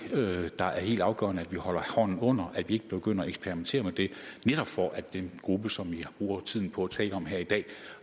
der er helt afgørende at holde hånden under altså at vi ikke begynder at eksperimentere med det netop for at den gruppe som vi bruger tiden på at tale om her i dag